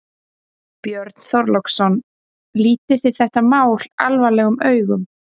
Björn Þorláksson: Lítið þetta mál alvarlegum augum?